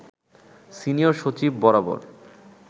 senior সচিব বরাবর